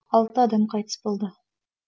алты адам қайтыс болды